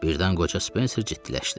Birdən qoca Spencer ciddiləşdi.